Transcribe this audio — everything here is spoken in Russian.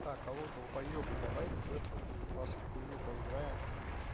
так алло долбоёбы давайте в эту вашу хуйню поиграем